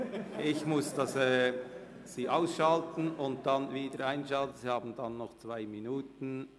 Ich muss den Ton aus- und wieder einschalten.